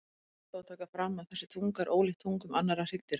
Rétt er þó að taka fram að þessi tunga er ólíkt tungum annarra hryggdýra.